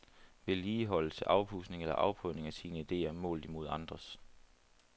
Vedligeholdelse, afpudsning eller afprøvning af sine idéer målt imod andres.